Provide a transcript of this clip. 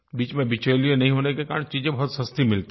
बीच में बिचौलिये नहीं होने के कारण चीज़ें बहुत सस्ती मिलती हैं